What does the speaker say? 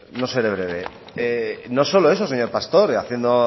no no seré breve no solo eso señor pastor haciendo